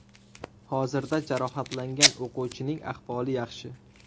Hozirda jarohatlangan o‘quvchining ahvoli yaxshi.